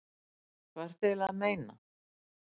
Hvað ertu eiginlega að meina?